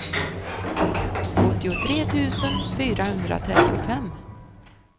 åttiotre tusen fyrahundratrettiofem